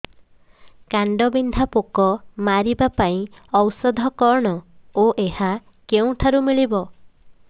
କାଣ୍ଡବିନ୍ଧା ପୋକ ମାରିବା ପାଇଁ ଔଷଧ କଣ ଓ ଏହା କେଉଁଠାରୁ ମିଳିବ